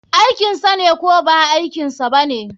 Aikinsane ko ba aikinsa bane?